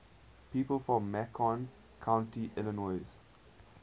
people from macon county illinois